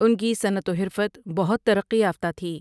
ان کی صنعت و حرفت بہت ترقی یافتہ تھی ۔